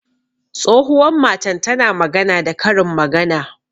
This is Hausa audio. Tsohuwan matan ta na magana da Karin magana.